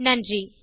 நன்றி